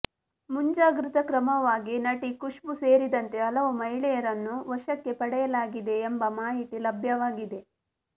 ಮುಂಜಾಗೃತಾ ಕ್ರಮವಾಗಿ ನಟಿ ಖುಷ್ಬೂ ಸೇರಿದಂತೆ ಹಲವು ಮಹಿಳೆಯರನ್ನು ವಶಕ್ಕೆ ಪಡೆಯಲಾಗಿದೆ ಎಂಬ ಮಾಹಿತಿ ಲಭ್ಯವಾಗಿದೆ